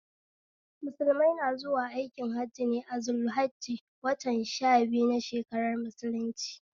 Musulmai na zuwa aikin Hajji ne a zul hajji watan sha biyu na shakarar mulunci